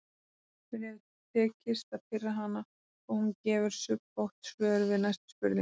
Mér hefur tekist að pirra hana og hún gefur snubbótt svör við næstu spurningum.